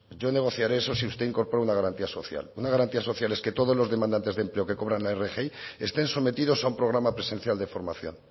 yo negociare eso si usted incorpora una garantía social una garantía social es que todos los demandantes de empleo que cobran la rgi estén sometidos a un programa presencial de formación